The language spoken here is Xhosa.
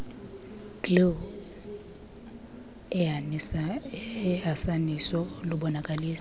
glu ehasaniso lubonakalisa